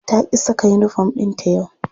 Ta ƙi saka uniform ɗinta yau.